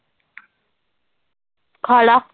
ਖਾ ਲਾ